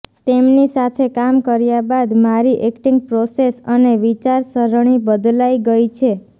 તેમની સાથે કામ કર્યા બાદ મારી ઍક્ટિંગ પ્રોસેસ અને વિચારસરણી બદલાઈ ગઈ છે